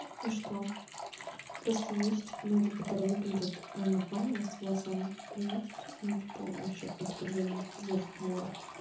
и что просто есть многие которые выглядят нормально с волосами а есть ну типа вообще откровенно зашквар